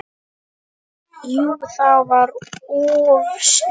Jú það var of snemmt.